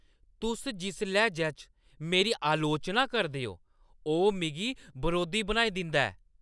तुस जिस लैह्‌ज च मेरी अलोचना करदे ओ, ओह् मिगी बरोधी बनाई दिंदा ऐ।